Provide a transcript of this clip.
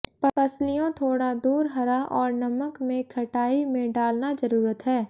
पसलियों थोड़ा दूर हरा और नमक में खटाई में डालना जरूरत है